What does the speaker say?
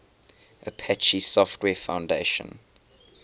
apache software foundation